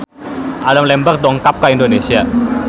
Adam Lambert dongkap ka Indonesia